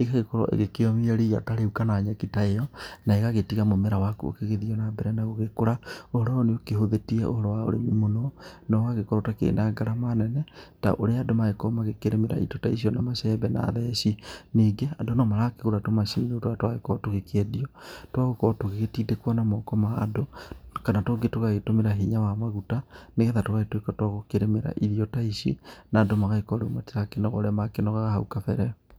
igagĩkorwo ikĩomia rĩu kana nyeki ta ĩyo na ĩgagĩtiga mũmera waku ũgĩgĩthiĩ na mbera na gũkũra ũhoro ũyũ nĩ ũkĩhũthĩtie ũhoro wa ũrĩmi mũno na ũgagĩkorwo ũtarĩ na ngarama nene ta ũrĩa andũ magĩkoragwo makĩrĩmira indo ta icio na macembe na theci, ningĩ andũ no marakĩgũra tũmacini rĩu tũrĩa tũragĩkorwo tũgĩkĩendio twa gũkorwo tũgĩgĩtindĩkwo na moko ma andũ kana tũngĩ tũgagĩtũmĩra hinya wa maguta nĩgetha tũgagĩtuĩka twa gũkĩrĩmĩra irio ta ici na andũ magagĩkorwo matirakĩnoga ũrĩa makĩnogaga hau kambere.